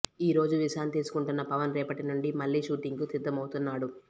ఈ రోజు విశ్రాంతి తీసుకుంటున్న పవన్ రేపటి నుండి మళ్లీ షూటింగ్ కి సిద్ధమవుతున్నాడు